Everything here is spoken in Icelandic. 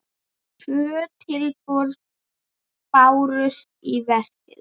Tvö tilboð bárust í verkið.